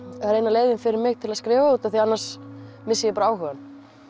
leiðin fyrir mig til að skrifa því annars missi ég bara áhugann